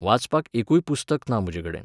वाचपाक एकूय पुस्तक ना म्ह़जे कडेन.